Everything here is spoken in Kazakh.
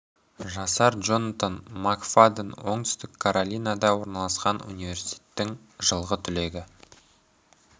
жасар джонатан мак фадден оңтүстік каролинада орналасқан университетінің жылғы түлегі